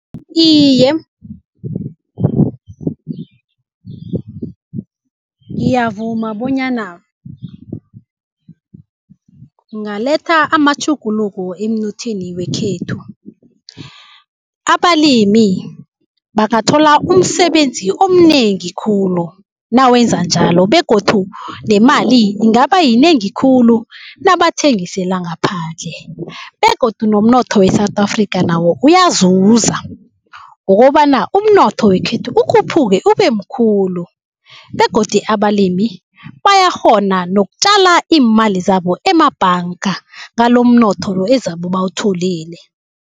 Iye, ngiyavuma bonyana kungaletha amatjhuguluko emnothweni wekhethu. Abalimi bangathola umsebenzi omnengi khulu nawenza njalo begodu nemali ingaba yinengi khulu nabathengisela ngaphandle. Begodu nomnotho we-South Afrika nawo uyazuza. Ngokobana umnotho wekhethu ukhuphuke ubemkhulu begodu abalimi bayakghona nokutjala iimali zabo emabhanga ngalomnotholo ezabe bawutholile.